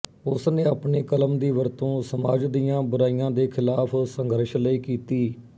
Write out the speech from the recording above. ਉਸਨੇ ਆਪਣੀ ਕਲਮ ਦੀ ਵਰਤੋਂ ਸਮਾਜ ਦੀਆਂ ਬੁਰਾਈਆਂ ਦੇ ਖਿਲਾਫ਼ ਸੰਘਰਸ਼ ਲਈ ਕੀਤੀ